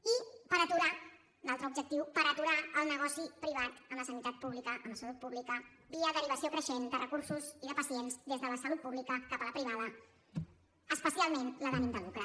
i per aturar l’altre objectiu el negoci privat amb la sanitat pública amb la salut pública via derivació creixent de recursos i de pacients des de la salut pública cap a la privada especialment la d’ànim de lucre